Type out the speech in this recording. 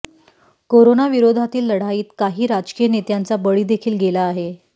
कोरोनाविरोधातील लढाईत काही राजकीय नेत्यांचा बळी देखील गेला आहे